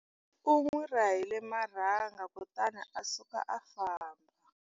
U n'wi rahile marhanga kutani a suka a famba.